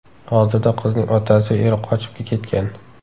Hozirda qizning otasi va eri qochib ketgan.